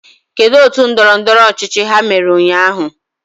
Kedu otu ndọrọndọrọ ọchịchị ha mere ụnyahụ?